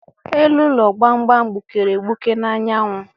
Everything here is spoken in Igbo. Elu ụlọ gbamgbam gbukere egbuke n'anyanwụ.